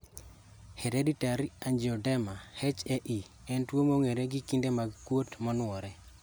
Hereditary angioedema (HAE) en tuo mong'ere gi kinde mag kuot manuore